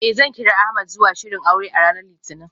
Eh, zan kira Ahmed zuwa shirin aure a ranar litinin.